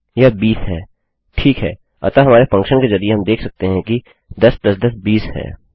यह 20 है ठीक है अतः हमारे फंक्शन के जरिये हम देख सकते हैं कि 10 10 20 है